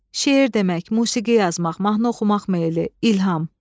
şeir demək, musiqi yazmaq, mahnı oxumaq meyli, ilham.